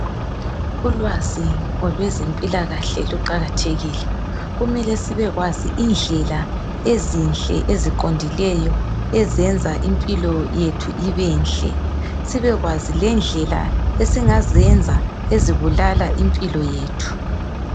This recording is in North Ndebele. Ulwazi ngolwezempilakahle luqakatheli. Kumele sibekwazi indlela ezinhle eziqondileyo ezenza impilo yethu ibenhle sibekwazi lendlela esingazenza ezibulala impilo yethu.